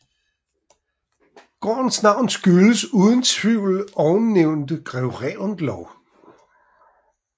Gårdens navn skyldes uden tvivl ovennævnte greve Reventlow